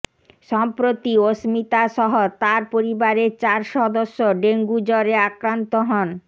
সম্প্রতি অস্মিতাসহ তার পরিবারের চার সদস্য ডেঙ্গু জ্বরে আক্রান্ত হন